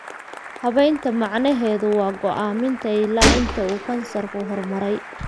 Habaynta macnaheedu waa go'aaminta ilaa inta uu kansarku horumaray.